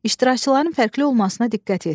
İştirakçıların fərqli olmasına diqqət yetirin.